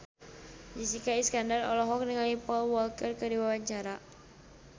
Jessica Iskandar olohok ningali Paul Walker keur diwawancara